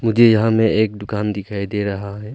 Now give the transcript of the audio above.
जी यहां में एक दुकान दिखाई दे रहा है।